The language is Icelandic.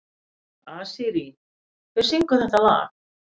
Asírí, hver syngur þetta lag?